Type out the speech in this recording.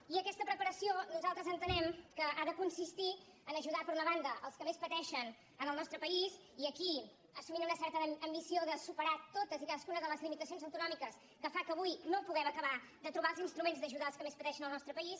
i aquesta preparació nosaltres entenem que ha de con·sistir a ajudar per una banda els que més pateixen en el nostre país i aquí assumint una certa ambició de superar totes i cadascuna de les limitacions autonòmi·ques que fan que avui no puguem acabar de trobar els instruments d’ajudar els que més pateixen en el nostre país